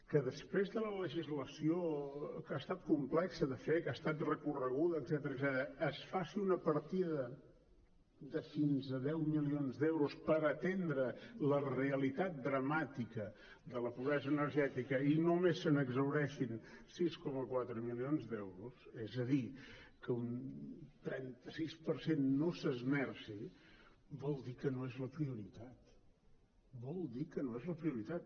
que després de la legislació que ha estat complexa de fer que ha estat recorreguda etcètera es faci una partida de fins a deu milions d’euros per atendre la realitat dramàtica de la pobresa energètica i només se n’exhaureixin sis coma quatre milions d’euros és a dir que un trenta sis per cent no s’esmerci vol dir que no és la prioritat vol dir que no és la prioritat